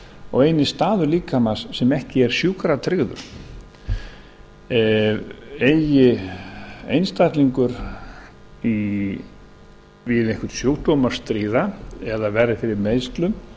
og eini staður líkamans sem ekki er sjúkratryggður eigi einstaklingur við einhvern sjúkdóm að stríða eða verði fyrir meiðslum